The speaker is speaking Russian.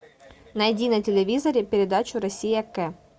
найди на телевизоре передачу россия к